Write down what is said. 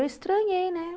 Eu estranhei, né?